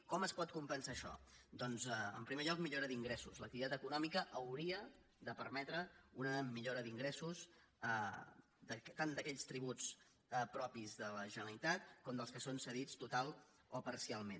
com es pot compensar això doncs en primer lloc millora d’ingressos l’activitat econòmica hauria de permetre una millora d’ingressos tant d’aquells tributs propis de la generalitat com dels que són cedits totalment o parcialment